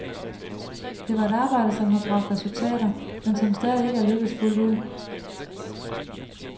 Det var et arbejde, som har bragt resultater, men som stadig ikke er lykkedes fuldt ud.